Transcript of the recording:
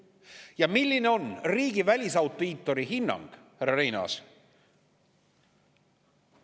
Ja milline on riigi välisaudiitori hinnang, härra Reinaas?